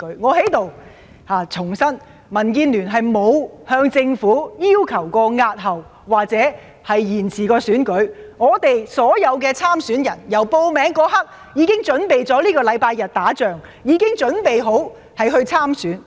我在此重申，民建聯沒有向政府要求過押後或延遲選舉，我們所有的參選人由報名那一刻開始，已準備在本周日打這場仗，已準備好參選工作。